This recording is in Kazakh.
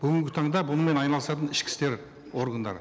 бүгінгі таңда бұнымен айналысатын ішкі істер органдары